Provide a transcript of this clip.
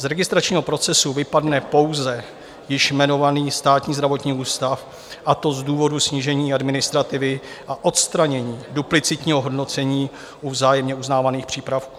Z registračního procesu vypadne pouze již jmenovaný Státní zdravotní ústav, a to z důvodu snížení administrativy a odstranění duplicitního hodnocení u vzájemně uznávaných přípravků.